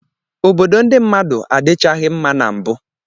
Obodo ndị mmadụ adịchaghị mma na mbụ.